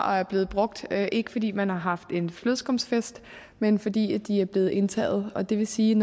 og er blevet brugt ikke fordi man har haft en flødeskumfest men fordi de er blevet indtaget og det vil sige